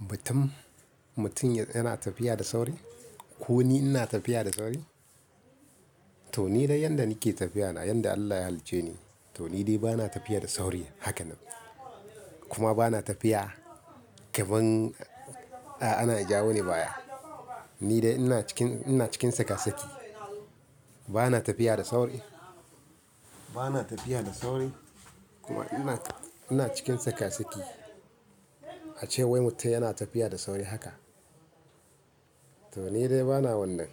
Batun mutum yana tafiya da sauri? Ko ni ina tafiya da sauri? To ni dai yanda nake tafiya na, yanda Allah ya halicce ni, to ni dai bana tafiya da sauri haka nan. Kuma bana tafiya kamar ana jawo ni baya. Ni dai ina cikin, ina cikin saka saki. Bana tafiya da sauri, bana tafiya da sauri kuma ina, ina cikin tsaka-tsaki. A ce wai mutum yana tafiya da sauri haka. To ni dai bana wannan.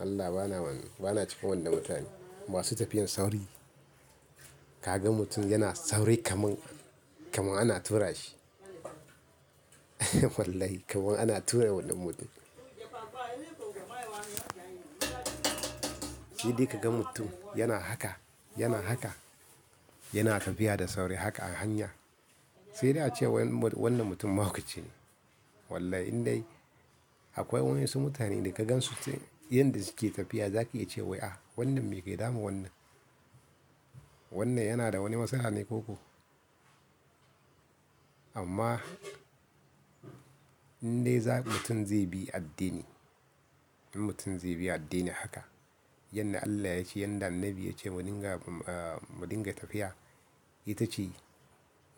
Allah bana wannan, bana cika wannan mutane masu tafiyar sauri. Ka ga mutum yana sauri kaman, kaman ana tura shi. Wallahi kaman ana tura wannan mutum. Shi dai ka ga mutum yana haka, yana haka, yana tafiya da sauri haka a hanya. Sai dai a ce wai wannan mutum mahaukaci ne. Wallahi in dai akwai wa'yansu mutane da ka gansu yanda suke tafiya za ki iya ce wai ah, wannan me ke damun wannan. Wannan yana da wani matsala ne ko ko? Amma in dai mutum zai bi addini, in mutum zai bi addini haka, yanda Allah ya ce, yanda annabi ya ce mu dinga, mu dinga tafiya, ita ce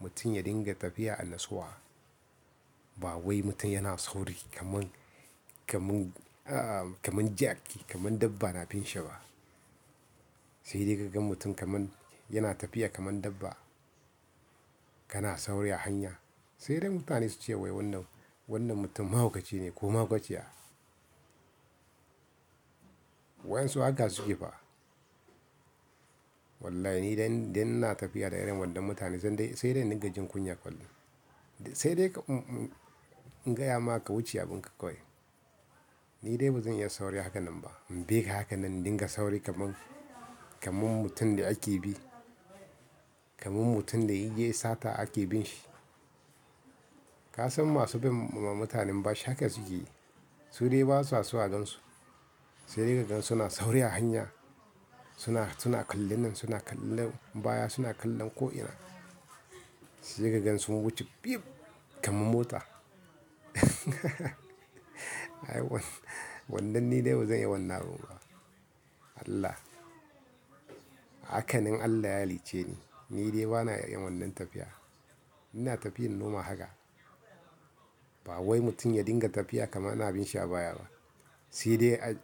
mutum ya dinga tafiya a nutsuwa. Ba wai mutum yana sauri kaman, kaman, kaman jaki, kaman dabba na bin shi ba. Sai dai ka ga mutum kaman yana tafiya kaman dabba, kana sauri a hanya. Sai dai mutane su ce wai wannan, wannan mutum mahaukaci ne ko mahaukaciya. Was'yansu haka suke fa. Wallahi ni dai, dai ina tafiya da irin wannan mutane zan dai, sai dai dinga jin kunya kwalli. Sai dai in gaya ma ka wuce abun ka kawai Ni dai bazan iya sauri haka nan ba, in bika haka nan in dinga sauri kaman, kaman mutum da ake bi. Kaman mutum da ya yi sata ake bin shi. Ka san masu bin mutanen bashi haka suke yi? Su dai ba sa so a gansu. Sai dai ka gan suna sauri a hanya, suna kalli nan, suna kallinan, baya, suna kallon ko ina. Sai dai ka ga sun wuce fib kaman mota. Wannan ni dai bazan iya wannan abun ba. Allah. Haka nan Allah ya halicce ni. Ni dai bana iya yin wannan tafiya. Ina tafiyan normal haka. Ba wai mutum ya dinga tafiya kamar ana bin shi a baya ba. Sai dai a--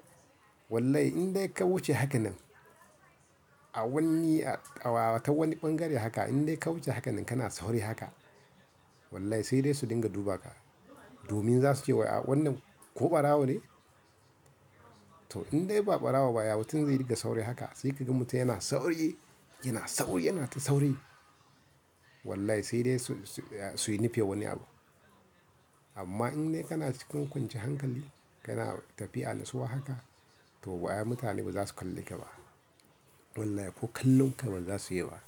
wallahi in dai ka wuce haka nan a wani, a wata wani ɓangare haka, in dai ka wuce haka nan kana sauri haka, wallahi sai dai su dinga duba ka. Domin za su ce wannan ko ɓarawo ne? To in dai ba barawo ba, ya mutum zai dinga sauri haka? Sai ka ga mutum yana sauri, yana sauri, yana ta sauri. Wallahi sai dai su yi nufin wani abu. Amma in dai kana cikin kwance hankali, kana tafiya a nutsuwa haka, to mutane ba za su kalle ka ba. Wallahi ko kallon ka ba za su yi ba.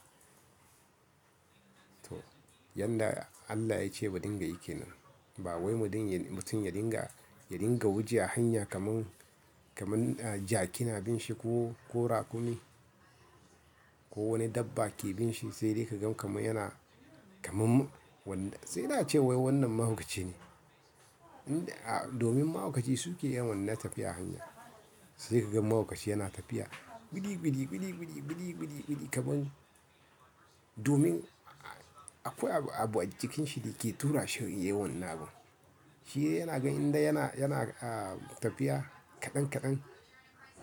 To yanda Allah ya ce mu dinga yi ke nan. Ba wai mutum ya dinga, ya dinga wuce a hanya kaman, kaman jaki na bin shi ko, ko rakumi ko wani dabba ke bin shi. Sai dai ka ga kaman yana kaman wannan. Sai dai a ce wai wannan mahaukaci ne. Inda a-- domin mahaukaci su ke yin wannan tafiya a hanya. Sai ka ga mahaukaci yana tafiya, biri, biri, biri, biri, biri, biri, biri kaman domin akwai abu a cikin shi da ke tura shi yayi wannan abu. Shi dai yana ganin dai yana, yana tafiya kaɗan kaɗan,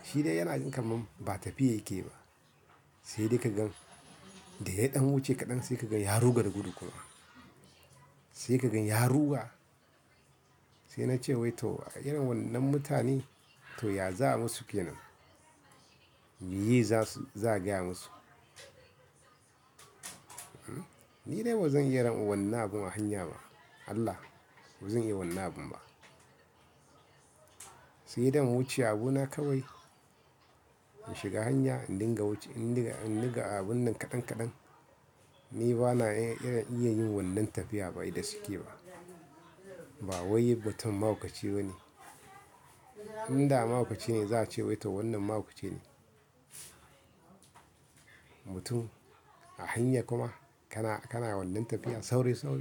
shi dai yana ga kaman ba tafiyar yake ba. Sai dai ka gan da ya ɗan wuce kaɗan sai ka gan ya ruga da gudu kawai. Sai ka gan ya ruga. Sai na ce wai to irin wannan mutane to ya za a yi musu ke nan? Mi ye za a gaya musu? Ni dai bazan iya yin wannan abun a hanya ba. Allah, bazan iya wannan abun ba. Sai dai in wuce abuna kawai, in shiga hanya, in dinga wuce, in dinga, in dinga abun nan kaɗan kaɗan. Ni bana iya, iya yin wannan tafiya ba idan suke ba. Ba wai mutum mahaukaci bane. Inda mahaukaci ne za a ce wai to wannan mahaukaci ne. Mutum a hanya kuma kana, kana wannan tafiya sauri sauri.